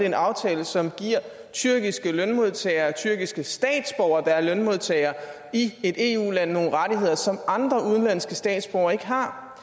en aftale som giver tyrkiske lønmodtagere tyrkiske statsborgere der er lønmodtagere i et eu land nogle rettigheder som andre udenlandske statsborgere ikke har